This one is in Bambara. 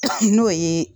N'o ye